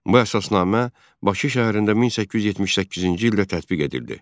Bu əsasnamə Bakı şəhərində 1878-ci ildə tətbiq edildi.